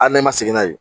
Hali n'e ma segin n'a ye